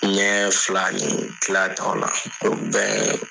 Ɲɛ fila ni Kila ta o la, o bi bɛn